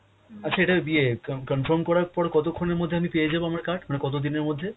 আচ্ছা এটা ইয়ে কাম~ confirm করার পর কতক্ষণের মধ্যে আমি পেয়ে হাব আমার card? মানে কত দিনের মধ্যে?